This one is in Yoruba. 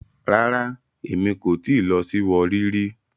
Rara, Emi ko ti lọ si Warri ri